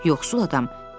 Yoxsul adam: